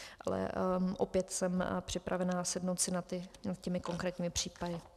Ale opět jsem připravena sednout si nad těmi konkrétními případy.